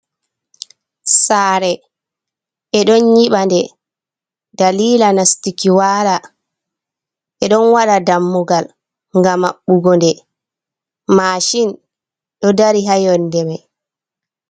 Sare ɓe ɗon yiɓa nde dalila nastuki wala, ɓe ɗon waɗa dammugal ngam maɓɓugo nde, mashin ɗo dari ha yonde mai.